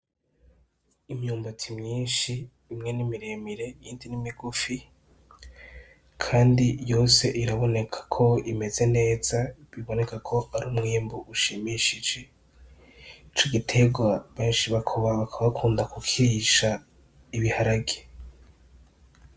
Imyumbati myinshi, imwe ni miremire iyindi ni migufi kandi yose iraboneka ko imeze neza biboneka ko ari umwimbu ushimishije. Ico giterwa benshi bakaba bakunda kukirisha ibiharage.